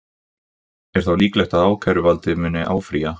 Er þá líklegt að ákæruvaldið muni áfrýja?